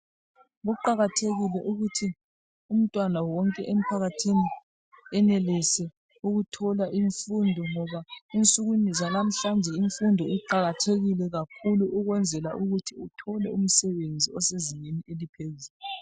Kuqakathekile ukuthi umntwana wonke empakathini enelise ukuthola imfundo, ngoba ensukwini zanamuhlanje imfundo iqakathekile kakhulu ukwenzela ukuthi uthole umsebenzi osezingeni eliphezulu.